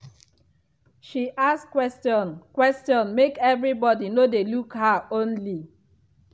dem dey dey use calm talk before dem enter room.